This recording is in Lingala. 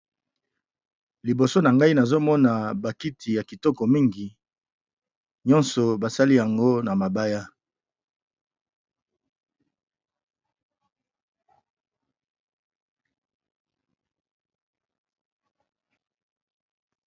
Liboso na ngai nazomona bakiti ya kitoko mingi nyonso basali yango na mabaya.